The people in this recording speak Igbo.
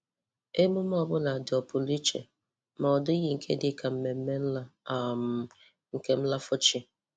Emume ọ bụla dị ọ̀pụrụ iche, ma ọ dịghị nke dị ka mmemme nla um nke nlàfọ chi.